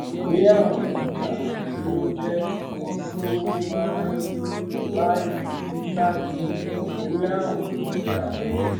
ìwé àwìn ọjà tí ó jẹ ojúlówó máa ń rí báyìí rí báyìí ìwé àwìn ọjà